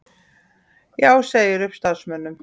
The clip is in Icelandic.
Já segir upp starfsmönnum